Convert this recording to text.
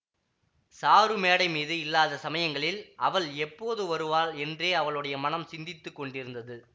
sir மேடை மீது இல்லாத சமயங்களில் அவள் எப்போது வருவாள் என்றே அவளுடைய மனம் சிந்தித்து கொண்டிருந்தது